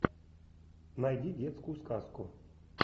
найди детскую сказку